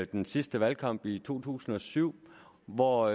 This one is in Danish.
den sidste valgkamp i to tusind og syv hvor